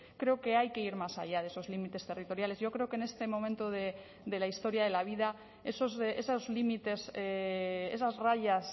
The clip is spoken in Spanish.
creo que hay que ir más allá de esos límites territoriales yo creo que en este momento de la historia de la vida esos límites esas rayas